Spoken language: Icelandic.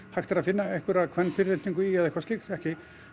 hægt er að finna einhverja kvenfyrirlitningu í eða eitthvað slíkt ekki